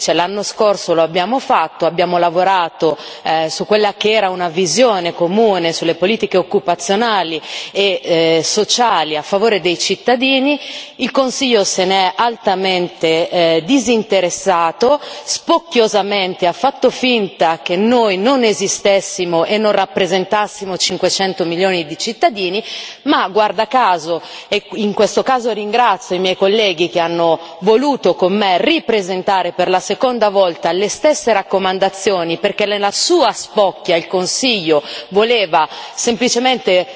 L'anno scorso lo abbiamo fatto, abbiamo lavorato su quella che era una visione comune sulle politiche occupazionali e sociali a favore dei cittadini, e invece il Consiglio se ne è altamente disinteressato, spocchiosamente ha fatto finta che noi non esistessimo e non rappresentassimo 500 milioni di cittadini. In questo caso ringrazio i miei colleghi che hanno voluto con me ripresentare, per la seconda volta, le stesse raccomandazioni, perché nella sua spocchia il Consiglio voleva semplicemente